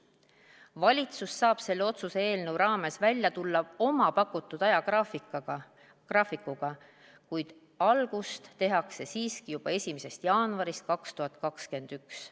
Valitsus saab selle otsuse eelnõu raames välja tulla oma pakutud ajagraafikuga, kuid algust tehakse siiski juba 1. jaanuarist 2021.